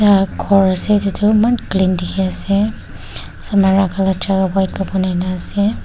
ghor ase itu tu eman clean dikhi ase ase.